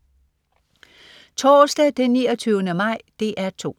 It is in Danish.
Torsdag den 29. maj - DR 2: